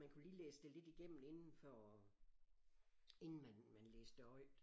Man kunne lige læse det lidt igennem inden for inden man man læste det højt